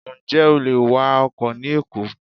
Ǹjẹ́ o lè wa ọkọ̀ ni Èkó?